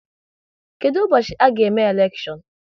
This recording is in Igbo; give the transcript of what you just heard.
Kedụ ụbọchị a ga-eme elekshion?